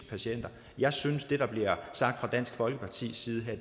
patienter jeg synes det der bliver sagt fra dansk folkepartis side her